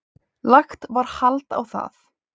Lagt var hald á það.